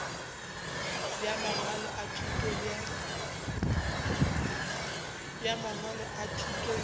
bja mangwalo a thuto bja